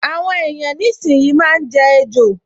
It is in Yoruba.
Àwọn èèyàn nísìínyi máa n jẹ ejò